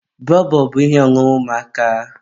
bọbọ bụ ihe ọṅụṅụ ụmụaka.